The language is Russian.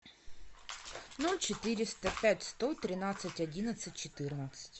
ноль четыреста пять сто тринадцать одиннадцать четырнадцать